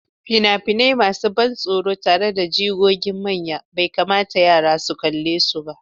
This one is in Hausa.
Fina-finai masu ban tsoro tare da jigogin manya bai kamata yara su kalle su ba.